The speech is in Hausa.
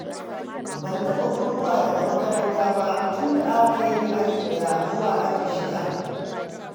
Ban taɓa guduwa daga makaranta ba tun da aka kaini aji ɗaya zuwa aji shida.